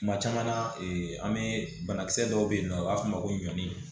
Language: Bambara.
Kuma caman na an bee banakisɛ dɔw be yen nɔ u b'a f'o ma ko ɲɔ